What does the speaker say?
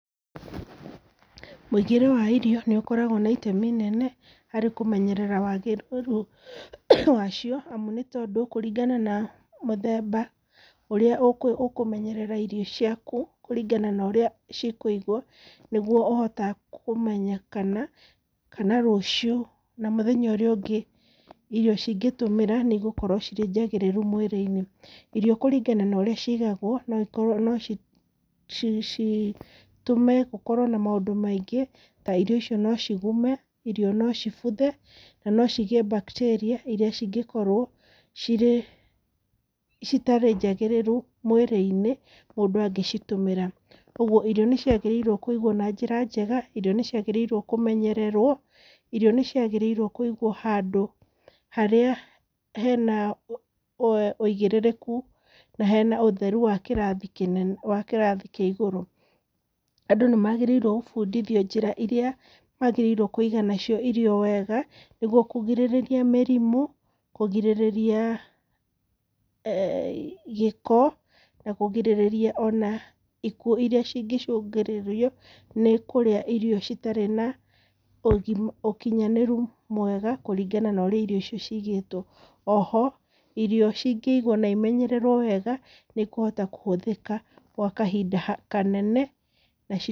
Mũigĩre wa irio nĩ ũkoragwo na itemi inene harĩ kũmenyerera wagĩrĩru wacio amu nĩ tondũ kũringana na mũthemba ũrĩa ũkũmenyerera irio ciaku kũringana na ũrĩa cikũigwo nĩgwo ũhote kũmenya kana, kana rũcio na mũthenya ũrĩa ũngĩ irio cingĩtũmĩra nĩ igũkorwo cĩrĩ njagĩrĩru mwĩrĩ-inĩ. Irio kũrĩngana na ũrĩa cĩĩgagwo no citũme gũkorwo na maũndũ maĩngĩ ta irio icio no cigũme, irio no cibuthe, na no cigĩe bacteria iria cingĩkorwo cĩtarĩ njagĩrĩru mwĩrĩ-inĩ mũndũ angĩcitũmira. Kogũo irio nĩ cĩagĩrĩirwo kũigwo na njĩra njega, irio nĩ ciagĩrĩirwo kũmenyererwo, irio nĩ cĩagĩrĩirwo nĩ kũigwo handũ harĩa hena wĩigĩrĩriku na hena ũtheru wa kĩrathĩ kĩa igũrũ. Andũ nĩ magĩrĩirwo gũbũndithio njĩra iria magĩrĩirwo nĩ kũiga nacio irio wega nĩgũo kũgĩrĩrĩria mĩrĩmũ, kũgĩrĩrĩria gĩko, na kũgĩrĩrĩria ikuũ iria cĩngĩcũngĩrĩrio nĩ kũrĩa irio cĩtari na ũkinyanĩru mwega kũrĩngana na ũrĩa ĩrĩo icio ciigĩtwo. Oho irio cingĩigwo na ĩmenyererwo wega nĩ ikuhota kũhũthĩka gwa kahinda kanene.